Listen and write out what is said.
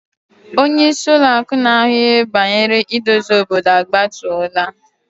Onye isi Ụlọ akụ na ahu ihe bangere idozi obodo agbatola.